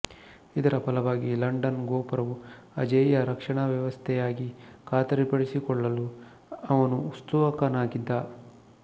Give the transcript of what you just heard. ಇದರ ಫಲವಾಗಿ ಲಂಡನ್ ಗೋಪುರವು ಅಜೇಯ ರಕ್ಷಣಾವ್ಯವಸ್ಥೆಯಾಗಿ ಖಾತರಿಪಡಿಸಿಕೊಳ್ಳಲು ಅವನು ಉತ್ಸುಕನಾಗಿದ್ದ